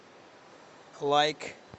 лайк